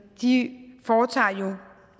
foretager